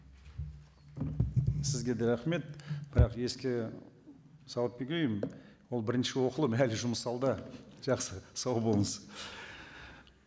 сізге де рахмет бірақ еске салып ол бірінші оқылым әлі жұмыс алда жақсы сау болыңыз